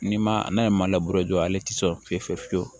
Ni ma n'a ye maa labɔ jɔlen tɛ so fiye fiye fiye fiyewu